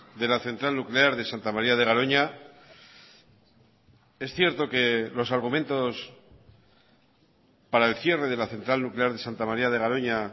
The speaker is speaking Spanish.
de la central nuclear de santa maría de garoña es cierto que los argumentos para el cierre de la central nuclear de santa maría de garoña